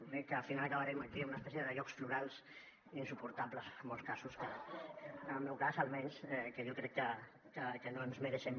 l’únic que al final acabarem aquí amb una espècie de jocs florals insuportables en molts casos en el meu cas almenys que jo crec que no ens mereixem